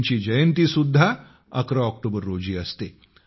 त्यांची जयंती सुद्धा 11 ऑक्टोबर रोजी असते